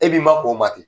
E b'i ma k'o ma ten